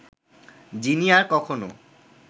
যিনি আর কখনো